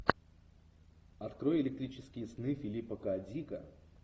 открой электрические сны филиппа к дика